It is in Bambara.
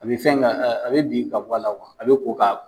A bɛ fɛn ka a bɛ bin ka bɔ la a bɛ ko ka